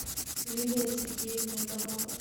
лилия сергеевна иванова